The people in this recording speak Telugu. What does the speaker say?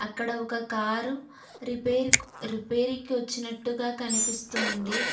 ఇక్కడ ఒక కారు రిపేర్క్ రిపేరీకి వచ్చినట్టుగా కనిపిస్తుంది.